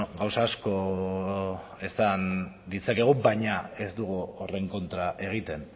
gauza asko esan ditzakegu baina ez dugu horren kontra egiten